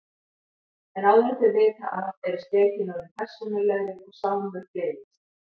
En áður en þau vita af eru skeytin orðin persónulegri og Sámur gleymist.